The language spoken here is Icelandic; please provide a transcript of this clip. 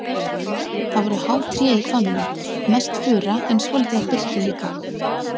Það voru há tré í hvamminum, mest fura en svolítið af birki líka.